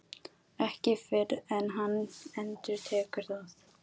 Ekki fyrr en hann endurtekur það.